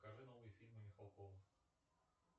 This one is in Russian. покажи новые фильмы михалкова